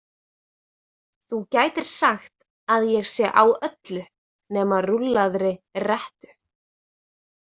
Þú gætir sagt að ég sé á öllu nema rúllaðri rettu.